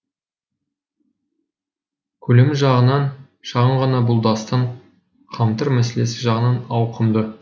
көлемі жағынан шағын ғана бұл дастан қамтыр мәселесі жағынан ауқымды